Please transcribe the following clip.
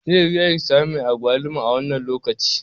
Zai yi wuya kisami mai agwaluma a wannan lokaci.